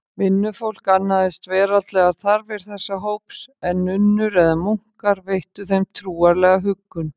Vinnufólk annaðist veraldlegar þarfir þessa hóps, en nunnur eða munkar veittu þeim trúarlega huggun.